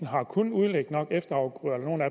har kunnet udlægge nok efterafgrøder